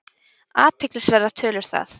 Athyglisverðar tölur það!